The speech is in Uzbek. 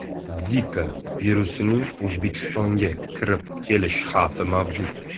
Zika virusining O‘zbekistonga kirib kelish xavfi mavjud.